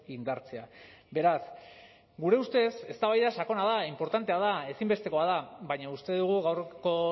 indartzea beraz gure ustez eztabaida sakona da inportantea da ezinbestekoa da baina uste dugu gaurko